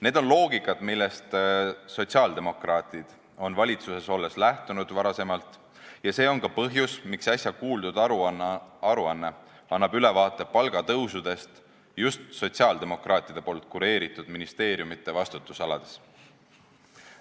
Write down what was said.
See on loogika, millest sotsiaaldemokraadid on varem valitsuses olles lähtunud, ja see on ka põhjus, miks äsja kuuldud aruanne annab ülevaate palgatõusudest just sotsiaaldemokraatide kureeritud ministeeriumide vastutusalades.